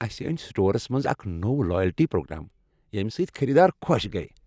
اسہ أنۍ سٹورس منٛز اکھ نوٚو لایلٹی پرٛوگرام ییٚمۍ سۭتۍ خریدار خۄش گٔیۍ۔